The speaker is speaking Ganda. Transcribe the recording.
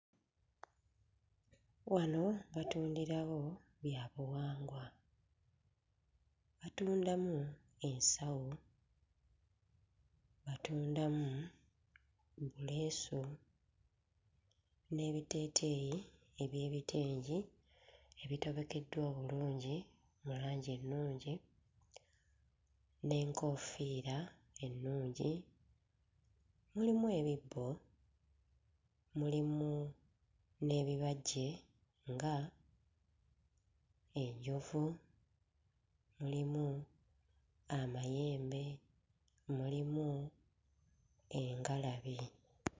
Wano batundirawo byabuwangwa. Batundamu ensawo, batundamu obuleesu n'ebiteeteeyi eby'ebitengi ebitobekeddwa obulungi mu langi ennungi n'enkoofiira ennungi. Mulimu ebibbo, mulimu n'ebibajje ng'enjovu, mulimu amayembe, mulimu engalabi.